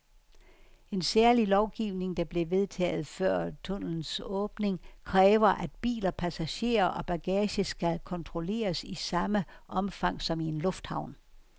En særlig lovgivning, der blev vedtaget før tunnelens åbning, kræver, at biler, passagerer og bagage skal kontrolleres i samme omfang som i en lufthavn.